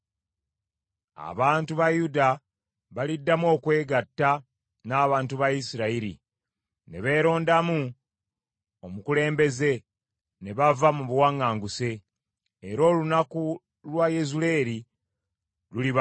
Abantu ba Yuda baliddamu okwegatta n’abantu ba Isirayiri ne beerondamu omukulembeze, ne bava mu buwaŋŋanguse, era olunaku lwa Yezuleeri luliba lukulu.”